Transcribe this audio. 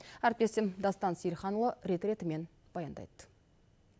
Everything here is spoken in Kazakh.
әріптесім дастан сейілханұлы рет ретімен баяндайды